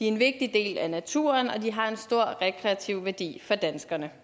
en vigtig del af naturen og de har en stor rekreativ værdi for danskerne